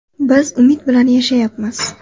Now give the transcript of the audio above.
Biz umid bilan yashayapmiz.